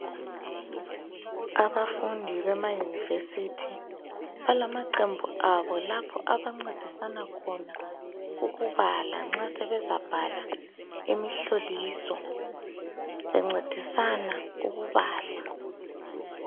Abafundi bema university balamaqembu abo lapho abancedisana khona ukubala nxa sebezabhala imihloliso bencedisana ukubala.